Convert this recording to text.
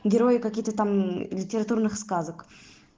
герои какие-то там литературных сказок